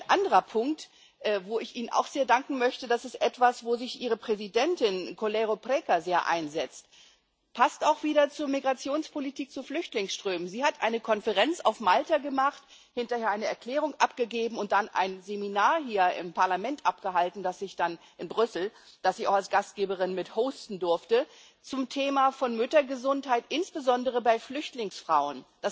Ein anderer Punkt, wo ich Ihnen auch sehr danken möchte Das ist etwas, wo sich Ihre Präsidentin Coleiro Preca sehr einsetzt, das auch wieder zu Migrationspolitik und zu Flüchtlingsströmen passt. Sie hat eine Konferenz auf Malta gemacht, hinterher eine Erklärung abgegeben und dann ein Seminar hier im Parlament in Brüssel abgehalten, das ich auch als Gastgeberin mit hosten durfte, zum Thema von Müttergesundheit, insbesondere bei Flüchtlingsfrauen.